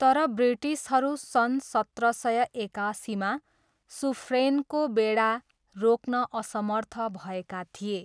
तर ब्रिटिसहरू सन् सत्र सय एकासीमा सुफ्रेनको बेडा रोक्न असमर्थ भएका थिए।